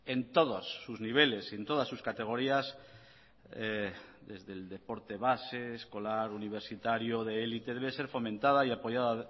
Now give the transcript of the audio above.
en todos sus niveles y en todas sus categorías desde el deporte base escolar universitario de élite debe ser fomentada y apoyada